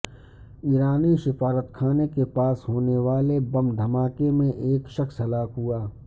ایرانی سفارتخانے کے پاس ہونے والے بم دھماکے میں ایک شخص ہلاک ہوا